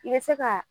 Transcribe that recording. I bɛ se ka